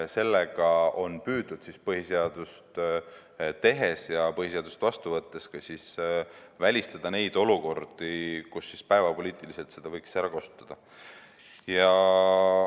Sellega on põhiseadust tehes ja põhiseadust vastu võttes püütud välistada neid olukordi, kus seda võiks päevapoliitiliselt ära kasutada.